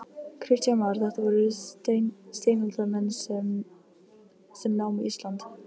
Kristján Már: Þetta voru steinaldarmenn sem námu Ísland?